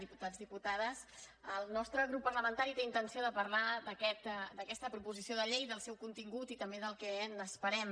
diputats diputades el nostre grup parlamentari té intenció de parlar d’aquesta proposició de llei del seu contingut i també del que n’esperem